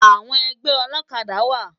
Awòn ègbè òlòkàdá wá